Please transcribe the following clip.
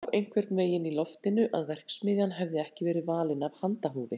Það lá einhvern veginn í loftinu að verksmiðjan hefði ekki verið valin af handahófi.